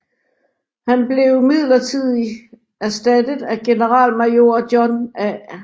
Han blev midlertidigt erstattet af generalmajor John A